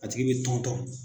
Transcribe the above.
A tigi bɛ tɔntɔn